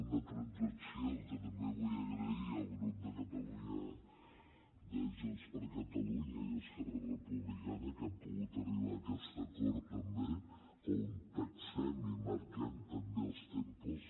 una transacció que també vull agrair al grup de junts per catalunya i esquerra republicana que hem pogut arribar a aquest acord també on taxem i marquem també els tempos